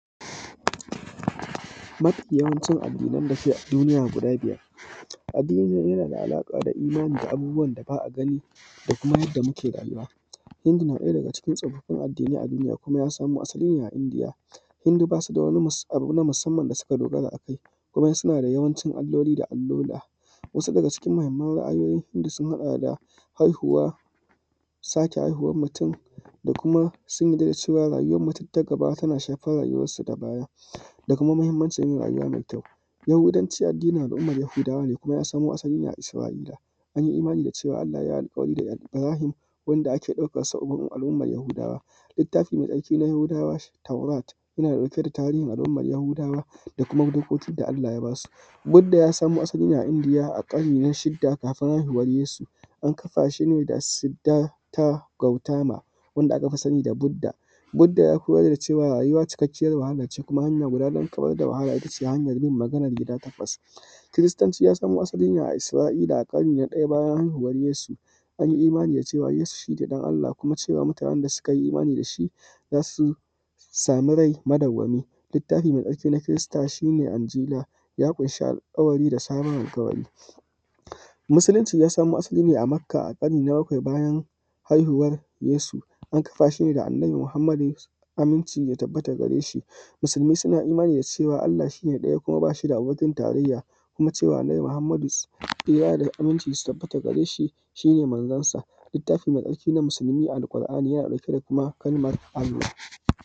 Mafi yawancin addinai da suke a duniya guda biyar addini yana da alaƙa da imani da abubuwan da ba a gani da kuma yanda muke rayuwa, hindu ɗaya daga cikin tsofaffin addini na duniya ya samo asali ne daga india hindu basu da wani addini na musamman da suka dogara a kai kuma suna da yawanci alloli da alola wasu daga cikin mahimman ra`ayoyin hindu sun haɗa da haihuwa, sake haihuwar mutum da kuma sun yadda da cewa rauwar mutum ta gaba tana shsfar rayuwar sa ta baya da kuma mahimmancin yin rayuwa kyau. Yahudanci addinin yahudawa ne kuma ya samo asali ne a isra`ila, an yi imani da cewa Allah yayi alƙawari da Ibrahim wanda ake ɗaukan sa a wurin al`umman yahudawa littafi mai tsarki na yahudawa taurat yana ɗauke da tarihin al`umman yahudawa da kuma dokokin da Allah ya basu duk da ya samo asali ne a india a ƙarni na shida kafin haihuwan yesu an kafa shi ne da Sidda ta Gautama wanda aka fi sani da Bidda duk da ya koyar da cewa rayuwa cikakkiyan wahale ce kuma hanya guda na kawar da wahala itace hanyar bin maganan gida takwas, kiristanci ya samo asali ne a isra`ila a ƙarni na ɗaya bayan haihuwan yesu an yi imani da cewa yesu shi ne ɗan Allah kuma cewa mutanen da suka yi imani da shi za su yi sami rai madauwami littafi mai tsarki na kirista shi ne angila ya ƙunshi alƙawari da sabon alƙawari. Musulunci ya samo asali ne a makka a ƙarni na bakwai bayan haihuwar yesu an kafa shaida da Annabi Muhammadu tsira da amincin Allah ya tabbata a gare shi, musulmai suna imani da cewa Allah shi ne ɗaya kuma bashi da abokin tarayya kuma cewa Annabi muhammadu tsira da amincin Allah su tabbata a gare shi shi manzon sa, littafi mai tsarki shi ne Alqur`ani yana ɗauke da kuma kalmar.